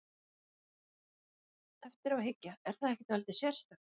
Eftir á að hyggja, er það ekki dálítið sérstakt?